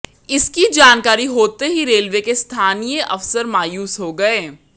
इसकी जानकारी होते ही रेलवे के स्थानीय अफसर मायूस हो गए